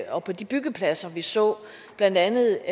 og på de byggepladser vi så blandt andet